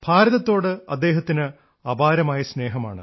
ഭാരതത്തോട് അദ്ദേഹത്തിന് അപാരമായ സ്നേഹമാണ്